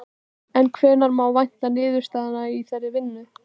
En hvenær má vænta niðurstaðna í þeirri vinnu?